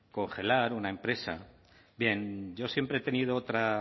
congelar una empresa bien yo siempre he tenido